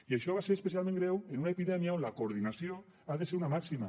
i això va ser especialment greu en una epidèmia on la coordinació ha de ser una màxima